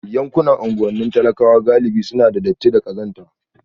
Yankunan unguwannin talakawa galibi suna da datti da ƙazanta